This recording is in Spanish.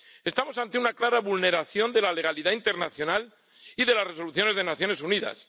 Estamos ante una clara vulneración de la legalidad internacional y de las resoluciones de las Naciones Unidas.